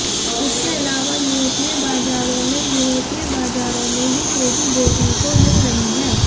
इसके अलावा यूरोपीय बाजारों में यूरोपीय बाजारों में भी तेजी देखने को मिल रही है